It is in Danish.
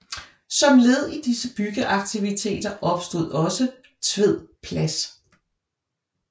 Som led i disse byggeaktiviteter opstod også Tved Plads